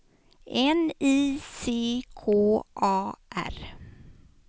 N I C K A R